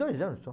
Dois anos só.